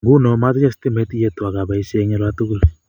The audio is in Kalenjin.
Nguno matinye stimet iyeto akeboishe eng olatukul